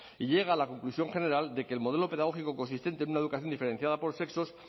y llega a la conclusión general de que el modelo pedagógico consistente en una educación diferenciada por sexos